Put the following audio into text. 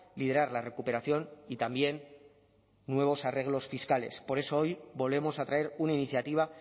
liderar la recuperación y también nuevos arreglos fiscales por eso hoy volvemos a traer una iniciativa